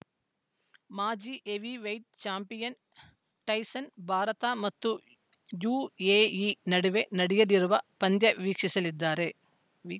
ಮಾಜಿ heavyweight champion Tyson Bharat ಮತ್ತು UAE ನಡುವೆ ನಡೆಯಲಿರುವ ಪಂದ್ಯ ವೀಕ್ಷಿಸಲಿದ್ದಾರೆ ವಿ